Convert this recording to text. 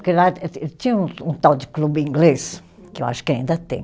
Porque lá tinha um um tal de clube inglês, que eu acho que ainda tem,